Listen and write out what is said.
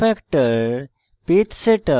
zoom factor page setup